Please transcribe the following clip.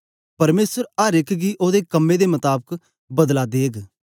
परमेसर अर एक गी ओदे कम्में दे मताबक बदला देग